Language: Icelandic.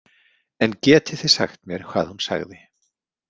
En getið þið sagt mér hvað hún sagði?